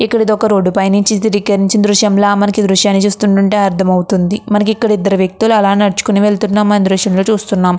ఇక్కడ ఇదొక రోడ్డు పైనుంచి చిత్రకరించిన దృశ్యంల మనకి దృశ్యాన్ని చూస్తుంటే అర్థమవుతుంది. మనకి ఇక్కడ ఇద్దరు వ్యక్తులు అలా నడుచుకొని వెళ్తున్నామని దృశ్యం లో చూస్తున్నామ్.